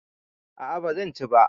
A'a bazan ci ba